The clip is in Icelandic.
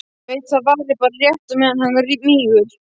Veit að það varir bara rétt á meðan hann mígur.